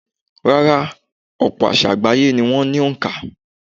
Rárá, ọ̀pọ̀ àsá̀ àgbáyé ni wọ́n ní òǹkà.